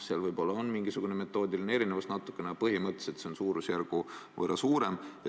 Seal on võib-olla mingi metoodiline erinevus, aga põhimõtteliselt on see suurusjärgu võrra suurem.